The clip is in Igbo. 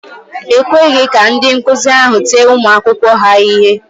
E kweghị ka ndị nkụzi ahụ tie ụmụ akwụkwọ ha ihe.